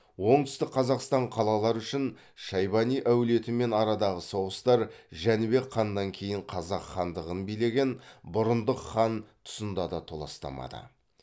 оңтүстік қазақстан қалалары үшін шайбани әулетімен арадағы соғыстар жәнібек ханнан кейін қазақ хандығын билеген бұрындық хан тұсында да толастамады